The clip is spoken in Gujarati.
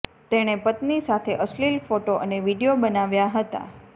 તેણે પત્ની સાથે અશ્લીલ ફોટો અને વીડિયો બનાવ્યા હતા